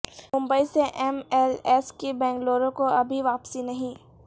ممبئی سے MLAs کی بنگلورو کو ابھی واپسی نہیں